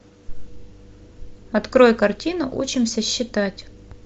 открой картину учимся считать